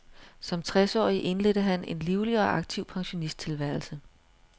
Som tres årig indledte han en livlig og aktiv pensionisttilværelse.